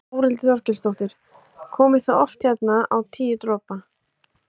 Þórhildur Þorkelsdóttir: Komið þið oft hérna á Tíu dropa?